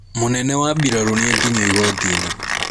Mũnene wa mbirarũ nĩakinyio igotinĩ.